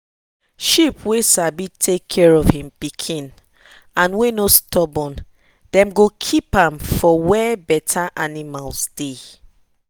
sheep wey sabi take care of en pikin and wey no stubborn dem go keep am for wey better animals deh.